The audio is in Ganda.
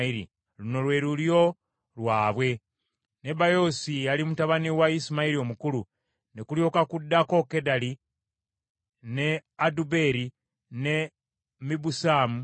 Luno lwe lulyo lwabwe: Nebayoosi ye yali mutabani wa Isimayiri omukulu, ne kulyoka kuddako Kedali, ne Adubeeri, ne Mibusamu,